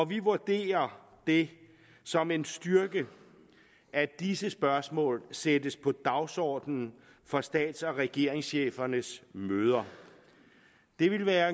vi vurderer det som en styrke at disse spørgsmål sættes på dagsordenen for stats og regeringschefernes møder det er